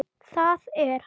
Það er